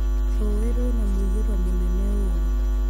Rũĩ rwĩna mũiyũro mũnene ũũru